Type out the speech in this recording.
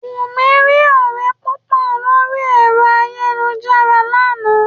Wùmí rí ọ̀rẹ́ púpọ̀ lórí ẹ̀rọ ayàwòrán láàná